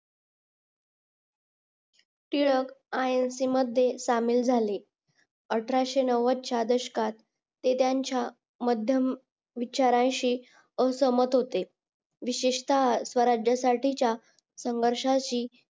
टिळक अयोशी मध्ये शामिल झाले अठराशे नौवद च्या दशकात ते त्यांच्या मध्यम विचारांशी असमंत होते विशेषता स्वराज्यासाठीच्या संघर्षयाची